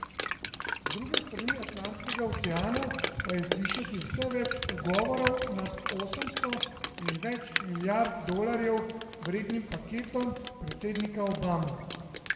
Z druge strani Atlantskega oceana pa je slišati vse več ugovorov nad osemsto in več milijard dolarjev vrednim paketom predsednika Obama.